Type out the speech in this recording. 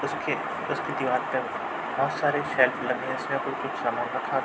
उसके उसकी दीवार पे बोहोत सारे शेल्फ लगे हैं। उसमें कोई कुछ सामान रखा --